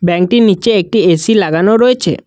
ব্যাংকটির নিচে একটি এ_সি লাগানো রয়েছে।